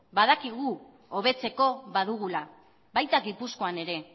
badakigu hobetzeko badugula baita gipuzkoan ere